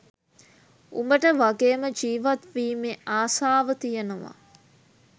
උබට වගේම ජිවත් වීමෙ අසාව තියෙනව